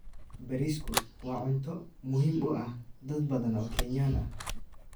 Bariisku waa cunto muhiim u ah dad badan oo Kenyan ah.